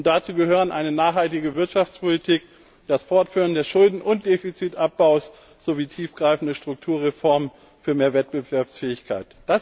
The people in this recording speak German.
Dazu gehören eine nachhaltige Wirtschaftspolitik, das Fortführen des Schulden und Defizitabbaus sowie tiefgreifende Strukturreformen für mehr Wettbewerbsfähigkeit.